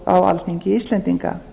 á alþingi íslendinga